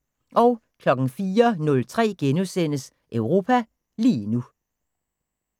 04:03: Europa lige nu *